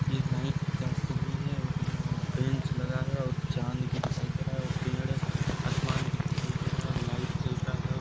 ये नाईट का समय है और यहाँ बेंच लगा है और चाँद भी दिखाई दे रहा है और पड़े आसमान भी दिखाई दे रहा है और लाइट जल रहा है और--